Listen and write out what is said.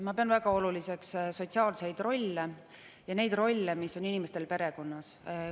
Ma pean väga oluliseks sotsiaalseid rolle ja neid rolle, mis on inimestel perekonnas.